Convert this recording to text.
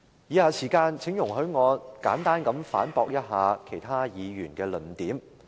以下時間，請容許我簡單地反駁一下其他議員的論點。